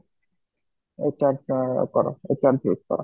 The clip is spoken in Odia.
HR ଅ କର HR choose କର